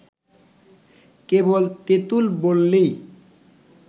কেবল তেঁতুল বললেই